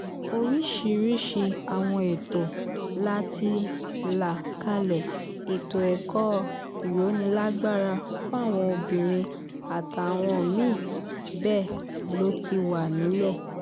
oríṣiríṣii àwọn ètò la ti là kalẹ̀ ètò ẹ̀kọ́ ìrónílágbára fáwọn obìnrin àtàwọn mí-ín bẹ́ẹ̀ ló ti wà nílẹ̀